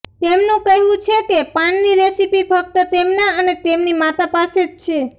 તેમનું કહેવું છે કે પાનની રેસિપી ફક્ત તેમના અને તેમની માતા પાસે જ છે